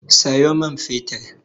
Sayo min fetir!